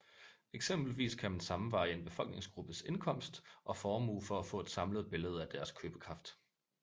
Eksempelvis kan man sammenveje en befolkningsgruppes indkomst og formue for at få et samlet billede af dens købekraft